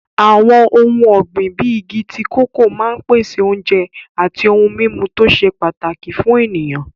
Àwọn ohun ọ̀gbìn bíi igi tíì kòkó máa ń pèsè oúnjẹ àti ohun-mímu tó ṣe pàtàkì fún ènìyàn.